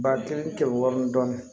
Ba kelen kɛmɛ wɔrɔnin dɔɔnin